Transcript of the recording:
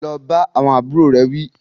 Lọ bá àwọn àbúrò rẹ̀ wí